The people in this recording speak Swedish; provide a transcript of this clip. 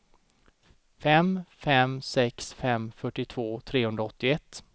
fem fem sex fem fyrtiotvå trehundraåttioett